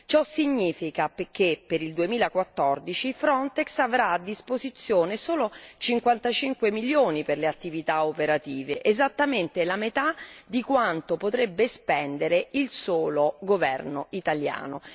Ciò significa che, per il 2014, Frontex avrà a disposizione solo 55 milioni per le attività operative, esattamente la metà di quanto potrebbe spendere il solo governo italiano.